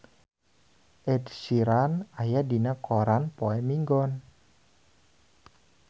Ed Sheeran aya dina koran poe Minggon